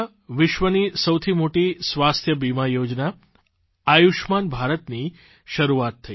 2018માં વિશ્વની સૌથી મોટી સ્વાસ્થ્ય વીમા યોજના આયુષમાન ભારતની શરૂઆત થઇ